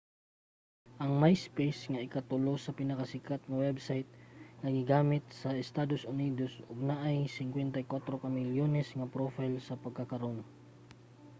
ang myspace ang ika-tulo nga pinakasikat nga website nga ginagamit sa estados unidos og naay 54 ka milyones nga profile sa pagkakaron